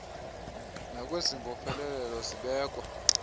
nakwezi mbopheleleko zibekwa